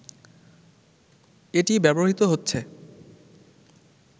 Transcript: এটি ব্যবহৃত হচ্ছে